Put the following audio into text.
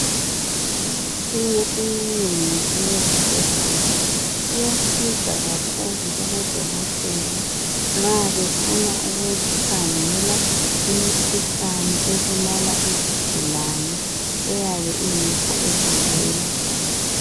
Imitshina eminengi eyesibhedlela iyasiza kakhulu kubodokotela nxa befuna ukukhangela imikhuhlane ebulala izigulane eyabe ingekho egcekeni.